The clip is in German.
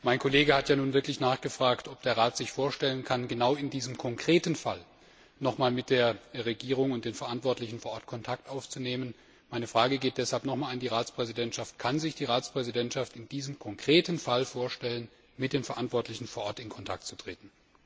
Mein Kollege hat ja bereits nachgefragt, ob der Rat sich vorstellen kann, genau in diesem konkreten Fall nochmals mit der Regierung und den Verantwortlichen vor Ort Kontakt aufzunehmen. Deshalb noch einmal meine Frage an die Ratspräsidentschaft Kann sich die Ratspräsidentschaft in diesem konkreten Fall vorstellen, mit den Verantwortlichen vor Ort in Kontakt zu treten?